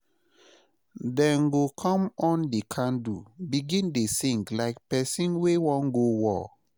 dem go con on di candle begin dey sing like person wey wan go war